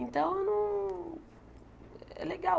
Então, eu não é legal.